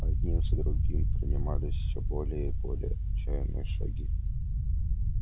одним за другим принимались всё более и более отчаянные шаги